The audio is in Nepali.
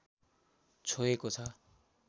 छोएको छ